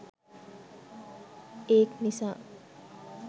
ඒක් නිසා